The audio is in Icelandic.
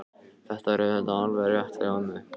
Þetta er auðvitað alveg rétt hjá mömmu.